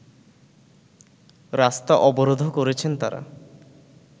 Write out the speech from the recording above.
রাস্তা অবরোধও করেছেন তারা